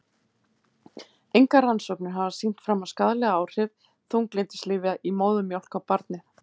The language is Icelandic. Engar rannsóknir hafa sýnt fram á skaðleg áhrif þunglyndislyfja í móðurmjólk á barnið.